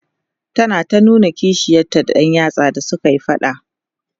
tana ta nuna kishiyarta da Yar yatsa da sukayi faɗa